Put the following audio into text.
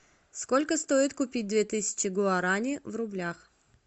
сколько стоит купить две тысячи гуарани в рублях